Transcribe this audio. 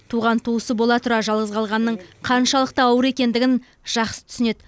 туған туысы бола тұра жалғыз қалғанның қаншалықты ауыр екендігін жақсы түсінеді